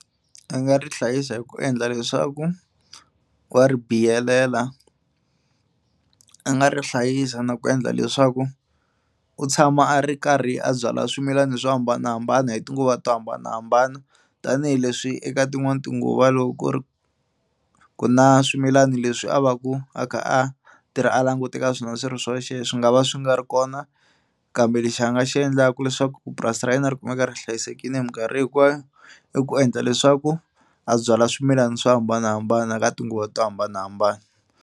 A nga ri hlayisa hi ku endla leswaku wa ri biyelela. A nga ri hlayisa na ku endla leswaku u tshama a ri karhi a byalwa swimilana swo hambanahambana hi tinguva to hambanahambana tanihileswi eka tin'wani tinguva loko ku ri ku na swimilani leswi a va ku a kha a tirha a langute ka swona swi ri swoxe swi nga va swi nga ri kona kambe lexi a nga xi endlaka leswaku purasi ra yena ri kumeka ri hlayisekile hi mikarhi hinkwayo i ku endla leswaku a byala swimilana swo hambanahambana ka tinguva to hambanahambana.